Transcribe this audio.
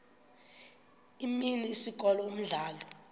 imini isikolo umdlalo